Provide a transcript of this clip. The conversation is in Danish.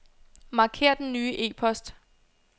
Marker den nye e-post.